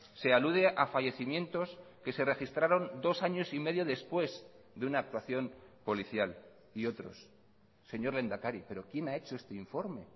se alude a fallecimientos que se registraron dos años y medio después de una actuación policial y otros señor lehendakari pero quién ha hecho este informe